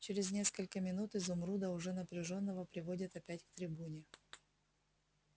через несколько минут изумруда уже распряжённого приводят опять к трибуне